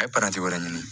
A ye paranti wɛrɛ ɲini